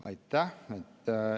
Aitäh!